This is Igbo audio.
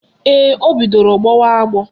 Ee, o bidoro gbọwa agbọ